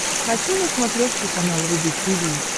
хочу на смотрешке канал рубль ти ви